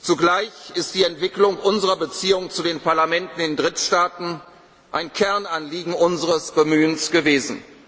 Zugleich ist die Entwicklung unserer Beziehungen zu den Parlamenten in Drittstaaten ein Kernanliegen unseres Bemühens